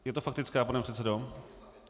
Je to faktická, pane předsedo?